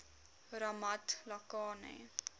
ramatlakane